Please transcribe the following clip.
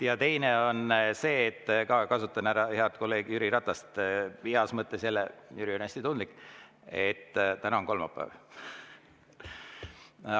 Ja teiseks kasutan ära head kolleegi Jüri Ratast, heas mõttes – Jüri on hästi tundlik –, et täna on kolmapäev.